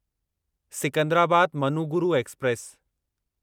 Secunderabad Manuguru express